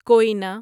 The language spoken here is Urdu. کوینا